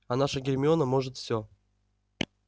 а наша гермиона может всё